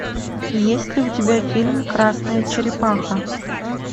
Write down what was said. есть ли у тебя фильм красная черепаха